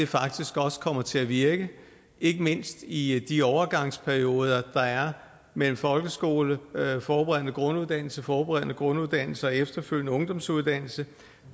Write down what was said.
faktisk også kommer til at virke ikke mindst i de overgangsperioder der er mellem folkeskole og forberedende grunduddannelse og forberedende grunduddannelse og efterfølgende ungdomsuddannelse